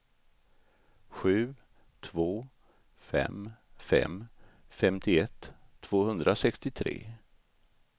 sju två fem fem femtioett tvåhundrasextiotre